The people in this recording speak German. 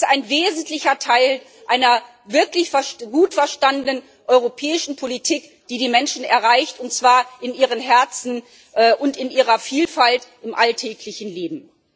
Sondern es ist ein wesentlicher Teil einer wirklich gut verstandenen europäischen Politik, die die Menschen erreicht, und zwar in ihren Herzen und in ihrer Vielfalt im alltäglichen Leben.